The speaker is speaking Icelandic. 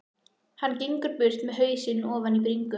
Hann gengur burt með hausinn ofan í bringu.